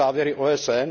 se závěry OSN?